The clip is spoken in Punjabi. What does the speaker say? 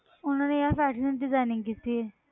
ਉਹਨਾਂ ਨੇ ਯਾਰ fashion designing ਕੀਤੀ ਹੈ।